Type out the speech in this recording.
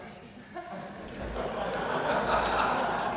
at har